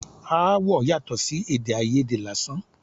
Aáwọ̀ yàtọ̀ sí èdè àìyedè lásán.